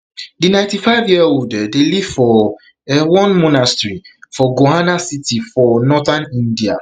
di ninety-fiveyearold um dey live for um one monastery for gohana city for northern india